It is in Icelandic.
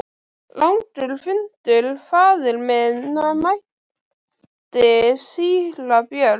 Langur fundur faðir minn, mælti síra Björn.